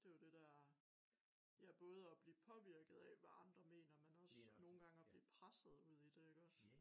Det jo dét der ja både at blive påvirket af hvad andre mener men også nogen gange at blive presset ud i det iggås